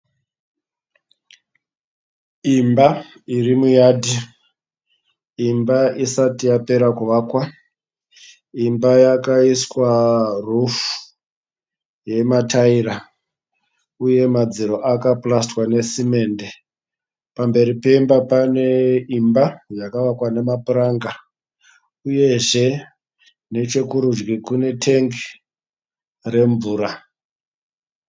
Imba iri muyadhi. Imba isati yapera kuvakwa. Imba yakaiswa rufuu yemataira uye madziro akapurasitwa nesemende. Pamberi pemba pane imba yakavakwa nepuranga uyezve nechekurudyi kunetengi remvura.